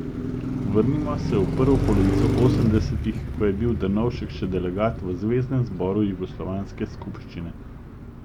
Vrnimo se v prvo polovico osemdesetih, ko je bil Drnovšek še delegat v zveznem zboru jugoslovanske skupščine.